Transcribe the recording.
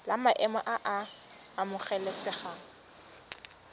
la maemo a a amogelesegang